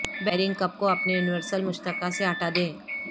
bearing cup کو اپنے universal مشترکہ سے ہٹا دیں